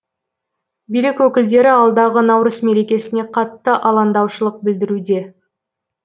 билік өкілдері алдағы наурыз мерекесіне қатты алаңдаушылық білдіруде